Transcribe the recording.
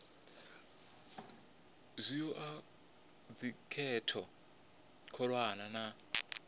zwi oa thikhedzo khulwane na